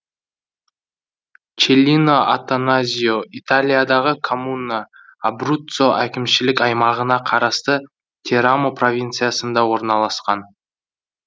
челлино аттаназьо италиядағы коммуна абруццо әкімшілік аймағына қарасты терамо провинциясында орналасқан